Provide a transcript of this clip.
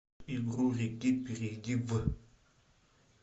игру реки перейди в